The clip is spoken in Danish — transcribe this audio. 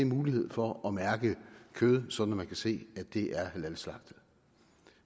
mulighed for at mærke kød sådan at man kan se at det er halalslagtet